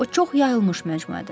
O çox yayılmış məcmuədir.